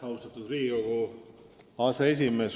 Austatud Riigikogu aseesimees!